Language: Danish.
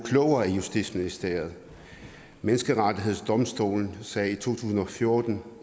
klogere i justitsministeriet menneskerettighedsdomstolen sagde i to tusind og fjorten